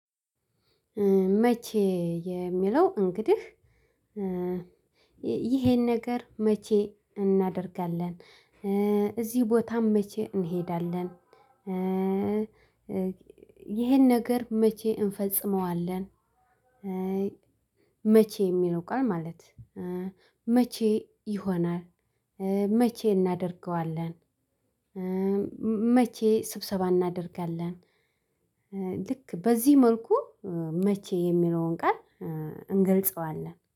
መቼ የሚለው እንግዲህ ይሄን ነገር መቼ እናደርጋለን እዚህ ቦታም መቼ እንሄዳለን? ይሄን ነገር መቼ እንፈጽመዋለን? መቼ የሚለው ቃል ማለት መቼ ይሆናል? መቼ እናደርገዋለን? መቼ ስብሰባ እናደርጋለን? ልክ በዚህ መልኩ መቼ የሚለውን ቃል እንገልጸዋለን